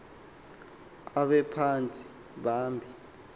abe phantsi phambi